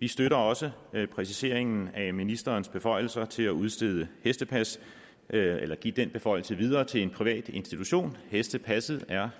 vi støtter også præciseringen af ministerens beføjelser til at udstede hestepas eller give den beføjelse videre til en privat institution hestepasset er